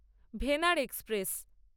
Venad express